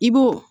I b'o